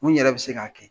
Mun yɛrɛ bɛ se k'a kɛ